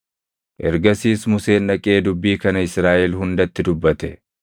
Ergasiis Museen dhaqee dubbii kana Israaʼel hundatti dubbate: